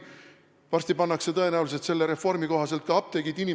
Varsti pannakse tõenäoliselt selle reformi kohaselt ka apteegid kinni.